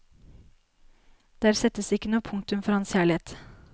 Der settes ikke noe punktum for hans kjærlighet.